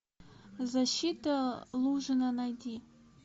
защита лужина найди